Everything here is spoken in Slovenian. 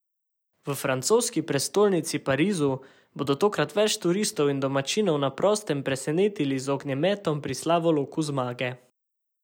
V francoski prestolnici Parizu bodo tokrat več tisoč turistov in domačinov na prostem presenetili z ognjemetom pri Slavoloku zmage.